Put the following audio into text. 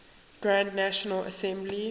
grand national assembly